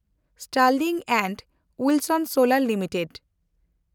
Sterling and Wilson solar limited